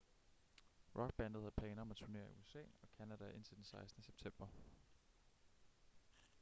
rockbandet havde planer om at turnere i usa og canada indtil den 16. september